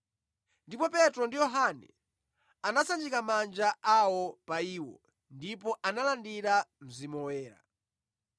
Ndipo Petro ndi Yohane anasanjika manja awo pa iwo, ndipo analandira Mzimu Woyera.